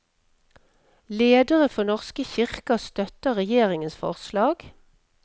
Ledere for norske kirker støtter regjeringens forslag.